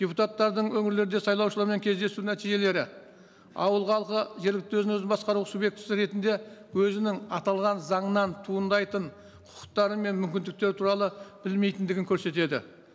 депутаттардың өңірлерде сайлаушылармен кездесу нәтижелері ауылдағы жергілікті өзін өзі басқару субъектісі ретінде өзінің аталған заңынан туындайтын құқықтары мен мүмкіндіктері туралы білмейтіндігін көрсетеді